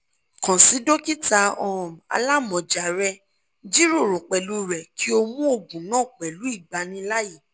kan si dokita um alamọja rẹ jiroro pẹlu rẹ ki o mu oogun naa pẹlu igbanilaaye